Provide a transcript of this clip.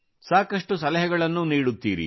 ಸಾಕಷ್ಟು ಸಲಹೆಗಳನ್ನು ನೀಡುತ್ತೀರಿ